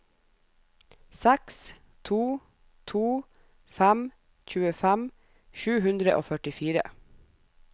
seks to to fem tjuefem sju hundre og førtifire